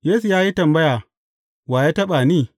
Yesu ya yi tambaya, Wa ya taɓa ni?